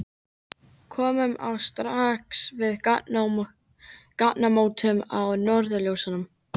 Komum við strax að gatnamótum með norðurljósum